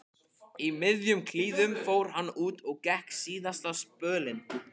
Í miðjum klíðum fór hann út og gekk síðasta spölinn.